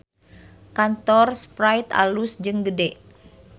Kantor Sprite alus jeung gede